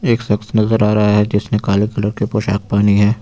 एक सख्त नजर आ रहा है जिसने काले रंग की पोशाक पानी है।